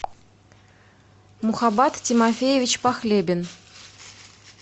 мухабат тимофеевич похлебин